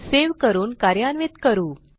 save करून कार्यान्वित करू